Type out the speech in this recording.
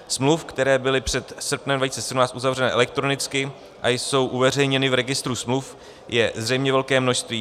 Smluv, které byly před srpnem 2017 uzavřené elektronicky a jsou uveřejněny v registru smluv, je zřejmě velké množství.